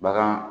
Bagan